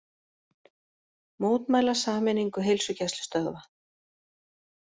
Mótmæla sameiningu heilsugæslustöðva